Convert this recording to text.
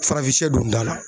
Farafinsiyɛ don da la.